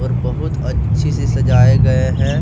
बहुत अच्छी से सजाए गए हैं।